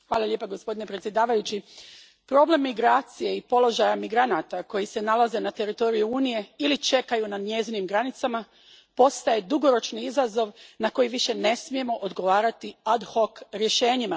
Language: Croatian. Gospodine predsjedniče, problem migracije i položaja migranata koji se nalaze na teritoriju Unije ili čekaju na njezinim granicama postaje dugoročni izazov na koji više ne smijemo odgovarati rješenjima.